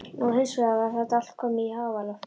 Nú hins vegar var þetta allt komið í háaloft.